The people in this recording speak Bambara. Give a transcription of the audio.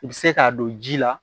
I bɛ se k'a don ji la